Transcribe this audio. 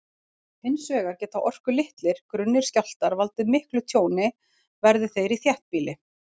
Hins vegar geta orkulitlir, grunnir skjálftar valdið miklu tjóni, verði þeir í þéttbýli.